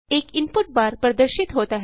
एक input bar प्रदर्शित होता है